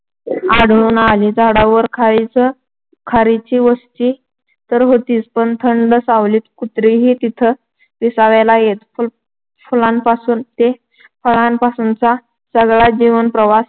आढळून आली. झाडावर खारीची खारीची वस्ती तर होतीच पण थंड सावलीत कुत्रीही तिथं विसाव्याला येत. फुलांपासून ते फळांपर्यंतचा सगळा जीवनप्रवास